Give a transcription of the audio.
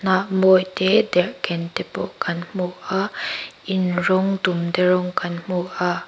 hnah mawi te derhken te pawh kan hmu a in rawng dumde rawng kan hmu a.